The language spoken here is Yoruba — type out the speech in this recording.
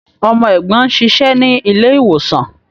Ọmọ ẹ̀gbọ́n ń ṣiṣẹ́ ní ilé-ìwòsàn.